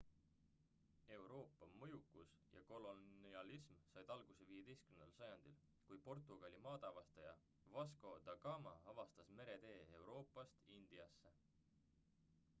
euroopa mõjukus ja kolonialism sai alguse 15 sajandil kui portugali maadeavastaja vasco da gama avastas meretee euroopast indiasse